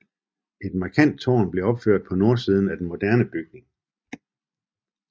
Et markant tårn blev opført på nordsiden af den moderne bygning